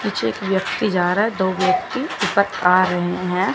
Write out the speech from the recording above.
कुछ एक व्यक्ति जा रहा है दो व्यक्ति ऊपर आ रहे हैं।